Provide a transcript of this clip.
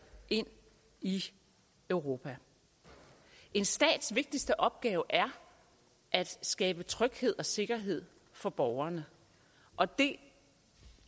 ind i europa en stats vigtigste opgave er at skabe tryghed og sikkerhed for borgerne og det